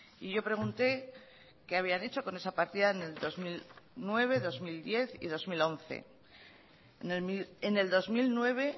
y yo pregunté qué habían hecho con esa partida en el dos mil nueve dos mil diez y dos mil once en el dos mil nueve